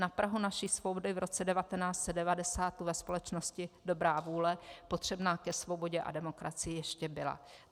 Na prahu naší svobody v roce 1990 ve společnosti dobrá vůle potřebná ke svobodě a demokracii ještě byla.